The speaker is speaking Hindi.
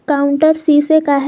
काउंटर शीशे का है।